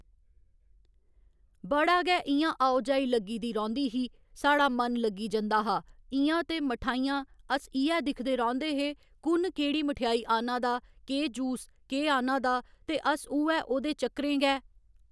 बड़ा गै इ'यां आओ जाई लग्गी दी रौंह्दी ही साढ़ा मन लग्गी जंदा हा इ'यां ते मठाइयां अस इ'यै दिखदे रौंह्दे हे कु'न केह्ड़ी मठेआई आह्न्ना दा केह् जूस केह् आह्न्ना दा ते अस उ'ऐ ओह्दे चक्करें गै